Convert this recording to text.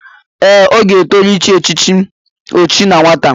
Ee, ọ ga-etoru ịchị echichi ọchi na nwata.